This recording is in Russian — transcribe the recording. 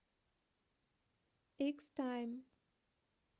икс тайм